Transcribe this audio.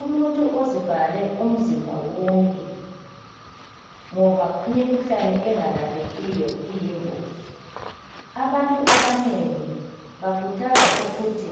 Umuntu uzivale umzimba wonke ngoba imikhuhlane engalaphekiyo iyingozi abantu abanengi bakhuthazwa ukuthi